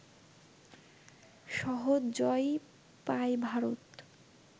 সহজ জয়ই পায় ভারত